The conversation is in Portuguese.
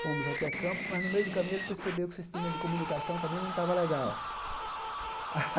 Fomos até Campos, mas no meio do caminho ele percebeu que o sistema de comunicação também não tava legal.